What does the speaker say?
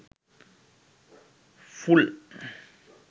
full